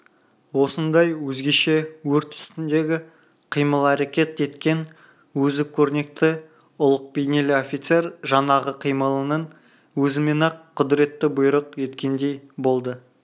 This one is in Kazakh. осындай өзгеше өрт үстіндегі қимыл-әрекет еткен өзі көрнекті ұлық бейнелі офицер жаңағы қимылының өзімен-ақ құдіретті бұйрық еткендей болды